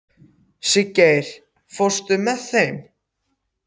Siggeir, ekki fórstu með þeim?